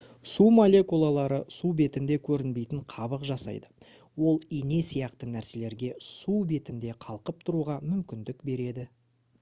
су молекулалары су бетінде көрінбейтін қабық жасайды ол ине сияқты нәрселерге су бетінде қалқып тұруға мүмкіндік береді